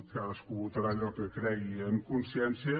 cadascú votarà allò que cregui en consciència